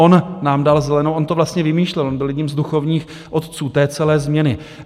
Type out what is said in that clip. On nám dal zelenou, on to vlastně vymýšlel, on byl jeden z duchovních otců té celé změny.